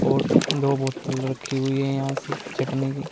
और दो बॉटल रखी हुई हैं यहां से चटनी की।